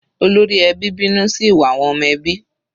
Olórí ẹbí bínú sí ìwà àwọn ọmọ ẹbí.